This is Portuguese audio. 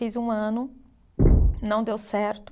Fiz um ano, não deu certo.